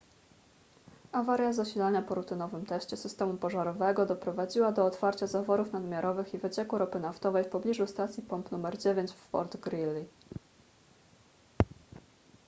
awaria zasilania po rutynowym teście systemu pożarowego doprowadziła do otwarcia zaworów nadmiarowych i wycieku ropy naftowej w pobliżu stacji pomp nr 9 w fort greely